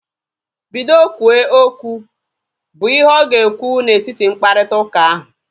Bido kwuwe okwu! Bụ ihe ọ ga ekwu na etiti mkparịta ụka ahu